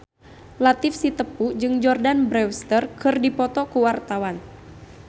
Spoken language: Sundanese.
Latief Sitepu jeung Jordana Brewster keur dipoto ku wartawan